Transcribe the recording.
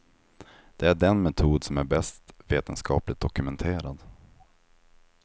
Det är den metod som är bäst vetenskapligt dokumenterad.